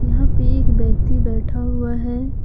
यहां पे एक व्यक्ति बैठा हुआ है।